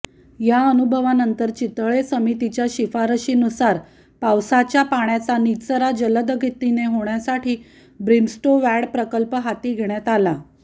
या अनुभवानंतर चितळे समितीच्या शिफारशींनुसार पावसाच्या पाण्याचा निचरा जलदगतीने होण्यासाठी ब्रिमस्टोवॅड प्रकल्प हाती घेण्यात आला